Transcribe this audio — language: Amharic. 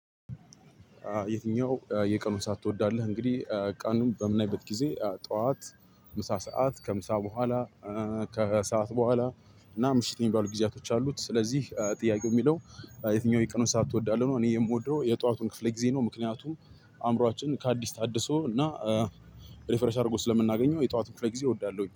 የትኛውን የቀኑን ስዓት ትወዳለህ? እንግዲህ ቀኑን በምናይበት ጊዜ ጠዋት ምሳ ሰዓት ከምሳ በኋላ ከሰአት በኋላ እና ምሽት የሚባሉ ጊዜያቶች አሉት። ስለዚህ ጥያቄው የሚለው የትኛውን የቀኑን ሰዓት ትወዳለህ ነው? እኔ የምወደው የጥዋቱን ክፍል ጊዜ ነው። ምክንያቱም አእምሮአችን ከአዲስ ታድሶ እና ሪፍሬሽ አድርጎ ስለምናገኘው የጠዋቱን ክፍለ ጊዜ እወዳለሁኝ